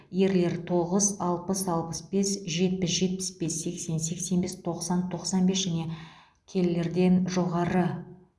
ерлер тоғыз алпыс алпыс бес жетпіс жетпіс бес сексен сексен бес тоқсан тоқсан бес және келілерден жоғары